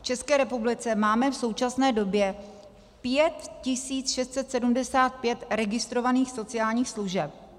V České republice máme v současné době 5 675 registrovaných sociálních služeb.